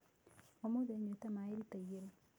Ũmũthĩ nyuĩte maĩ lita igĩrĩ .